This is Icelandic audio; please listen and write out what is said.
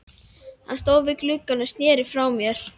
Hann stóð við gluggann og sneri frá mér.